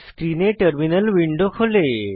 স্ক্রিনে terminal window খোলে